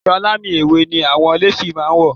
Aṣọ alámì ewé ni àwọn néfì máa wọ̀